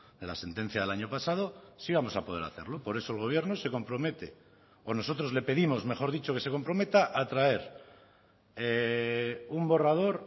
de la sentencia del año pasado sí vamos a poder hacerlo por eso el gobierno se compromete o nosotros le pedimos mejor dicho que se comprometa a traer un borrador